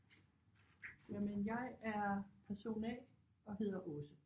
Jamen jeg er person A og hedder Aase